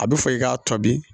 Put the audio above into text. A bɛ fɔ i k'a tɔbi